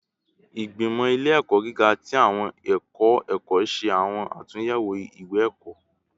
Igbimọ ile-ẹkọ giga ti awọn ẹkọ ẹkọ ṣe awọn atunyẹwo iwe-ẹkọ